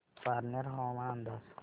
पारनेर हवामान अंदाज